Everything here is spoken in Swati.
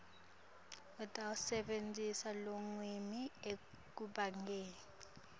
utawusebentisa lulwimi ekucabangeni